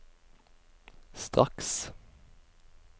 straks